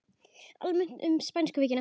Almennt um spænsku veikina